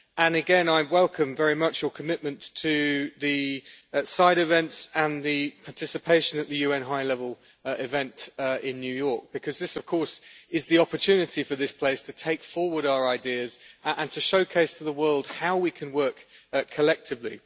Again, I welcome very much your commitment to the side events and the participation at the UN high level event in New York, because this of course is the opportunity for this place to take forward our ideas and to showcase to the world how we can work collectively.